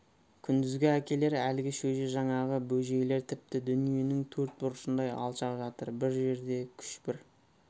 күндізгі әкелер әлгі шөже жаңағы бөжейлер тіпті дүниенің төрт бұрышындай алшақ жатыр бір жерде күш бір